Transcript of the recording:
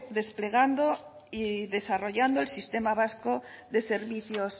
desplegando y desarrollando el sistema vasco de servicios